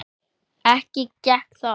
Ekki gekk það.